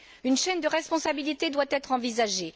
Une chaîne de responsabilité doit être envisagée.